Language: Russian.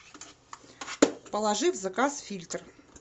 положи в заказ фильтр